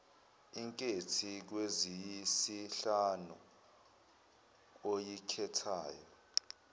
inkethi kweziyisihlanu oyikhethayo